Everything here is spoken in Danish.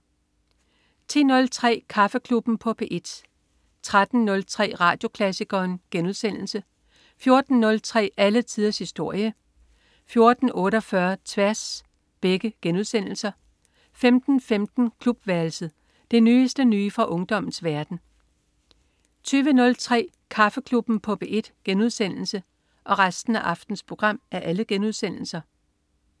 10.03 Kaffeklubben på P1 13.03 Radioklassikeren* 14.03 Alle tiders historie* 14.48 Tværs* 15.15 Klubværelset. Det nyeste nye fra ungdommens verden 20.03 Kaffeklubben på P1*